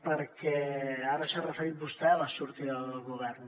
perquè ara s’ha referit vostè a la sortida del govern